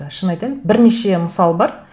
шын айтайын бірнеше мысал бар